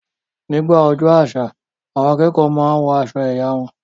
Nígbà ọjọ́ àṣà, àwọn akẹ́kọ̀ọ́ máa n wọ aṣọ ẹ̀yà wọn